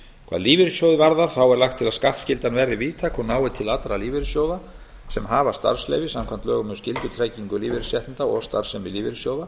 hvað lífeyrissjóðina varðar er lagt til að skattskyldan verði víðtæk og nái til allra lífeyrissjóða sem hafa starfsleyfi samkvæmt lögum um skyldutryggingu lífeyrisréttinda og starfsemi lífeyrissjóða